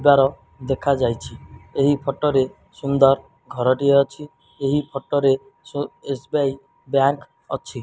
ଦ୍ଵାର ଦେଖାଯାଇଛି ଏହି ଫୋଟ ରେ ସୁନ୍ଦର୍ ଘରଟିଏ ଅଛି ଏହି ଫୋଟ ରେ so S B I bank ଅଛି।